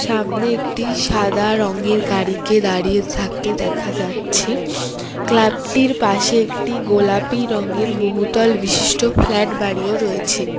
সামনে একটি সাদা রঙের গাড়িকে দাঁড়িয়ে থাকতে দেখা যাচ্ছে ক্লাবটির পাশে একটি গোলাপী রংয়ের বহুতল বিশিষ্ট ফ্ল্যাট বাড়িও রয়েছে।